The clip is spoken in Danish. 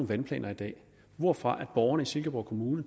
vandplaner i dag hvorfor borgerne i silkeborg kommune